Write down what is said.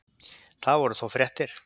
Það voru þó fréttir.